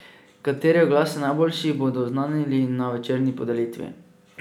Kateri oglas je najboljši, bodo oznanili na večerni podelitvi.